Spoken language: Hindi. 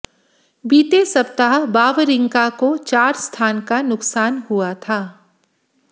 बीते सप्ताह वावरिंका को चार स्थान का नुकसान हुआ था